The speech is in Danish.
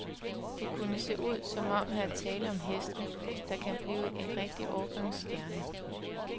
Det kunne se ud, som om her er tale om heste, der kan blive til rigtige årgangsstjerner.